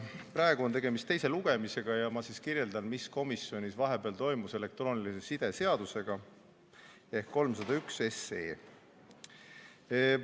Praegu on tegemist teise lugemisega ja ma siis kirjeldan, mis elektroonilise side seadusega ehk eelnõuga 301 komisjonis vahepeal toimus.